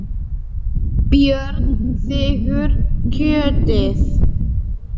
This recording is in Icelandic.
Björn þiggur kjötið.